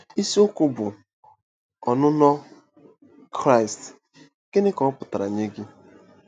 Isiokwu bụ́ “ Ọnụnọ Kraịst—Gịnị Ka Ọ Pụtara Nye Gị?”